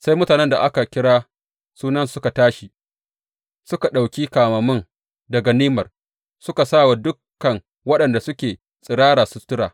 Sai mutanen da aka kira sunansu suka tashi, suka ɗauki kamammun, da ganimar, suka sa wa dukan waɗanda suke tsirara sutura.